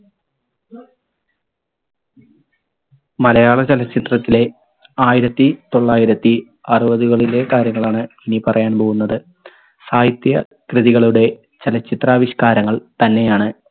മലയാള ചലച്ചിത്രത്തിലെ ആയിരത്തി തൊള്ളായിരത്തി അറുപതുകളിലെ കാര്യങ്ങളാണ് ഇനി പറയാൻ പോകുന്നത്. സാഹിത്യ കൃതികളുടെ ചലച്ചിത്രാവിഷ്കാരങ്ങൾ തന്നെയാണ്